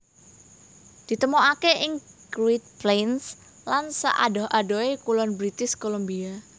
Ditemokaké ing Great Plains lan saadoh adohé kulon British Columbia